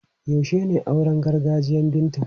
Yaushe ne auren gargajiyan Binta?